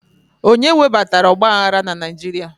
Onye webatara ọgba aghara na Naijiria?